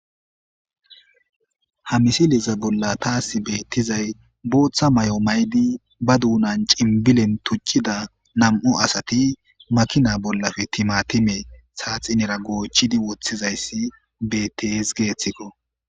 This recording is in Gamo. ha misiliza bolla taasi beettizay booththa may7o maydi ba duunan cimbilen tuccida nam7u asati makina bollafe timatime saaxinera goochidi woththizayssi bets geeththikko